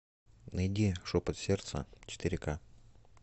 найди шепот сердца четыре ка